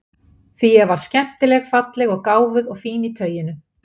Því ég var skemmtileg falleg og gáfuð og fín í tauinu.